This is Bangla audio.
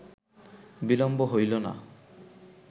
বিলম্ব হইল না